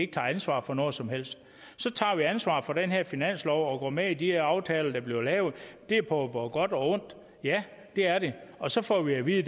tager ansvar for noget som helst så tager vi ansvar for den her finanslov og kommer med i de aftaler der bliver lavet det er både på godt og ondt ja det er det og så får vi at vide